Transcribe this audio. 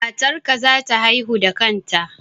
Matar ka za ta haihu da kanta